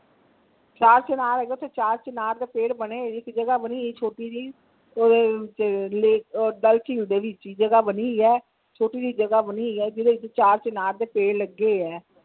ਚਾਰ ਚਿਨਾਰ ਹੈਗਾ ਓਥੇ ਚਾਰ ਚੀਨਾਰ ਦੇ ਪੇਡ ਬਣੇ ਹੋਏ ਇਕ ਜਗਾਹ ਬਣੀ ਹੋਈ ਛੋਟੀ ਜਹੀ ਓਹਦੇ ਵਿਚ ਡੱਲ ਝੀਲ ਦੇ ਵਿਚ ਹੀ ਜਗਾਹ ਬਣੀ ਹੋਈ ਆ ਛੋਟੀ ਝੀ ਜਗਾਹ ਬਣੀ ਹੋਈ ਆ ਜਿਹੜੇ ਚ ਚਾਰ ਚੀਨਾਰ ਦੇ ਪੇਡ ਲੱਗੇ ਹੋਏ ਹੈ।